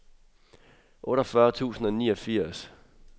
otteogfyrre tusind og niogfirs